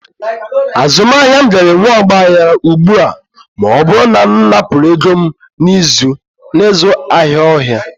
Azụmahịa m gaara enwe ọgba aghara ugbu a ma ọ bụrụ na m napụrụ ego m n'ịzụ ahịa ọhịa.